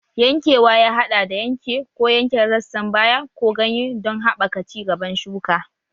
Yankewa ya haɗa da yanke ko yanke rassan baya ko ganye don haɓaka ci gaban shuka